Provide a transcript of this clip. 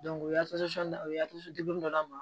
o ye o ye dɔ d'a ma